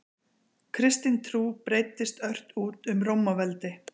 Kristin trú breiddist ört út um Rómaveldi.